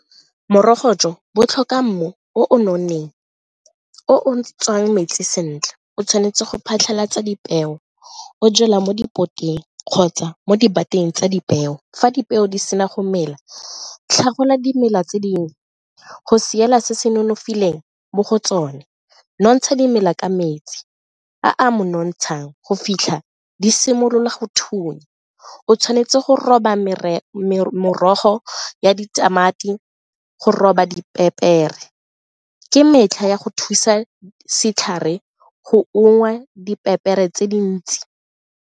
Morogo jo bo tlhoka mmu o o nonneng o o tswang metsi sentle, o tshwanetse go phatlhalatsa dipeo o jalwa mo kgotsa mo di bateng tsa dipeo fa dipeo di sena go mela tlhagolwa dimela tse dingwe go sireletsa se se nonofileng mo go tsone nontsha dimela ka metsi a a mo nontshang go fitlha di simolola go thunya o tshwanetse go roba merogo ya ditamati, go roba dipepere ke metlha ya go thusa setlhare go ungwa dipepere tse dintsi.